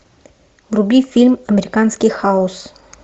вруби фильм американский хаос